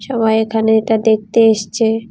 সবাই এখানে এটা দেখতে এসছে।